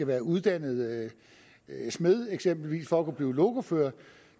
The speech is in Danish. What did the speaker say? være uddannet smed eksempelvis for at kunne blive lokofører